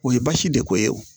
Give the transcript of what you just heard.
O ye basi de ko ye o